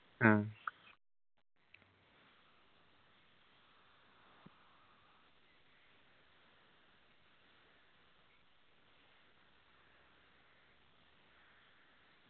ആ